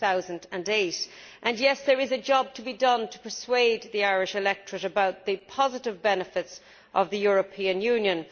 2008. Yes, there is a job to be done to persuade the Irish electorate about the positive benefits of the European Union.